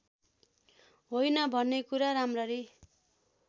होइन भन्नेकुरा राम्ररी